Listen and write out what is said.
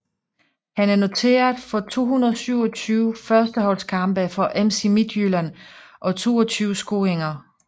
Han er noteret for 227 førsteholdskampe for FC Midtjylland og 22 scoringer